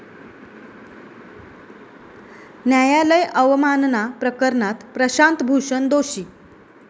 न्यायालय अवमानना प्रकरणात प्रशांत भूषण दोषी